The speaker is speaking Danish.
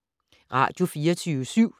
Radio24syv